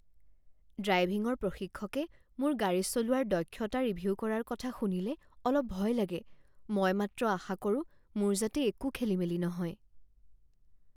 ড্ৰাইভিঙৰ প্ৰশিক্ষকে মোৰ গাড়ী চলোৱাৰ দক্ষতা ৰিভিউ কৰাৰ কথা শুনিলে অলপ ভয় লাগে। মই মাত্ৰ আশা কৰোঁ মোৰ যাতে একো খেলিমেলি নহয়।